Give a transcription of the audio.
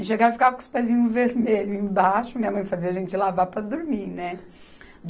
E chegava, ficava com os pezinhos vermelhos embaixo, minha mãe fazia a gente lavar para dormir, né?